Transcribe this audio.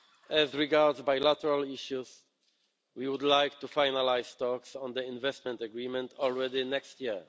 As regards bilateral issues, we would like to finalise talks on the investment agreement already next year.